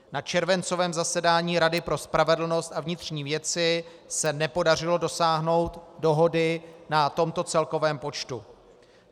Na červencovém zasedání Rady pro spravedlnost a vnitřní věci se nepodařilo dosáhnout dohody na tomto celkovém počtu.